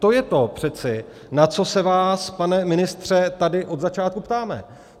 To je přece to, na co se vás, pane ministře, tady od začátku ptáme.